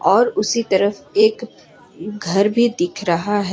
और उसी तरफ एक घर भी दिख रहा है।